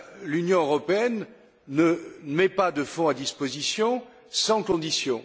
L'Union européenne ne met pas de fonds à disposition sans conditions.